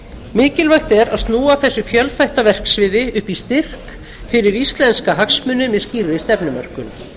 mikilvægt er að snúa þessu fjölþætta verksviði upp í styrk fyrir íslenska hagsmuni með skýrri stefnumörkun